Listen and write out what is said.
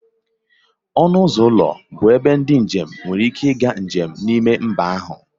Ọnụ ụzọ ụlọ bụ ebe ndị njem nwere ike ịga njem n'ime mba ahụ